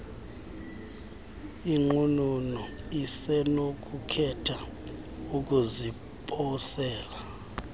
inqununu isenokukhetha ukuziposela